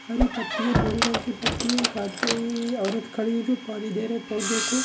हरी पत्ती है बोरे रंग की पत्ती है एक आदमी औरत खड़ी है जो पानी दे रही है पौधों को।